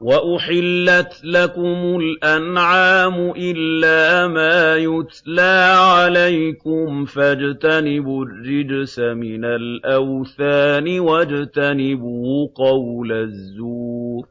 وَأُحِلَّتْ لَكُمُ الْأَنْعَامُ إِلَّا مَا يُتْلَىٰ عَلَيْكُمْ ۖ فَاجْتَنِبُوا الرِّجْسَ مِنَ الْأَوْثَانِ وَاجْتَنِبُوا قَوْلَ الزُّورِ